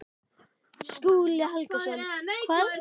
Skúli Helgason: Hvað er að valda þessari tregðu í kerfinu?